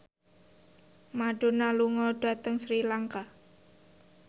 Madonna lunga dhateng Sri Lanka